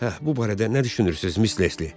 Hə, bu barədə nə düşünürsüz, Mis Lesli?